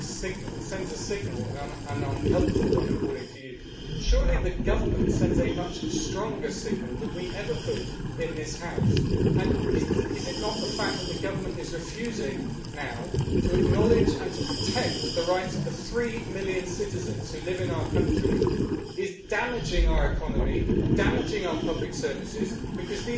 You say that this debate sends a signal an unhelpful one, according to you. Surely the Government sends a much stronger signal than we ever could in this House? Is the fact that the Government is refusing now to acknowledge, and to protect, the rights of the three million citizens who live in our country not damaging our economy and damaging our public services because